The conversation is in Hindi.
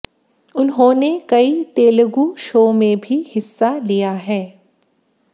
उन्होंने कई तेलुगू शो में भी हिस्सा लिया है